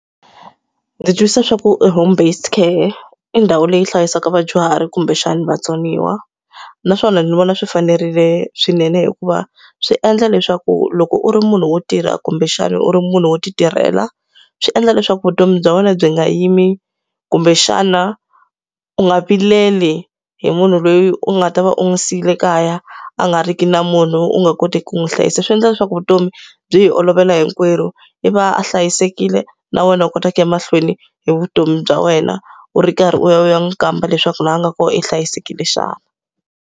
Ndzi twisisa swa ku e home based care i ndhawu leyi hlayisaka vadyuhari kumbexani vatsoniwa. Naswona ni vona swi fanerile swinene hikuva swi endla leswaku loko u ri munhu wo tirha kumbexana u ri munhu wo ti tirhela, swi endla leswaku vutomi bya wena byi nga yimi kumbexana u nga vileli hi munhu loyi u nga ta va u n'wi siyile kaya, a nga ri ki na munhu u nga koti ku n'wi hlayisa. Swi endla leswaku vutomi byi hi olovela hinkwerhu, i va a hlayisekile, na wena u kota ku ya mahlweni hi vutomi bya wena. U ri karhi u ya u ya n'wi kamba leswaku laha a nga kona u hlayisekile xana.